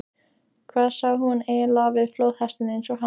Hvað sá hún eiginlega við flóðhest eins og hann?